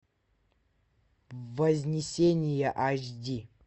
вознесение эйч ди